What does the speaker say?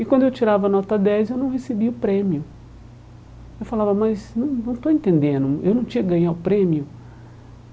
E quando eu tirava nota dez, eu não recebia o prêmio Eu falava, mas não não estou entendendo, eu não tinha ganhar prêmio?